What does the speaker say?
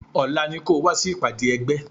Ọlá ni kò wá sí ìpàdé ẹgbẹ́